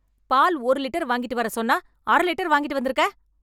பால் ஒரு லிட்டர் வாங்கிட்டு வர சொன்னா அர லிட்டர் வாங்கிட்டு வந்துருக்க